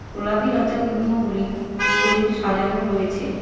গোলাপী লতা গুল্মগুলি উপরে সাজানো রয়েছে।